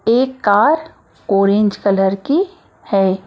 एक car orange colour की है।